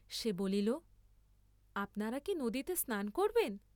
সে বলিল আপনারা কি নদীতে স্নান করবেন?